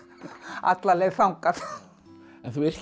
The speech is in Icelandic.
alla leið þangað en þú yrkir